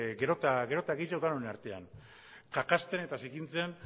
gero eta gehiago denon artean kakazten eta zikintzen